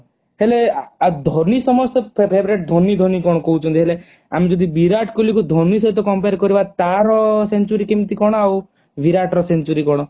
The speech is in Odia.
ହେଲେ ଧୋନୀ ସମସ୍ତଙ୍କ favorite ଧୋନୀ ଧୋନୀ କଣ କହୁଛନ୍ତି ହେଲେ ଆମେ ଯଦି ବିରାଟ କୋହଲି କୁ ଧୋନୀ ଶହିତ compare କରିବା ତାର century କେମତି କଣ ଆଉ ବିରାଟ ର century କଣ